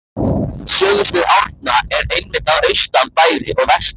Sögusvið Árna er einmitt að austan bæði og vestan